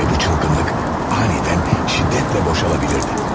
Və bu çılğınlıq anidən şiddətlə boşala bilərdi.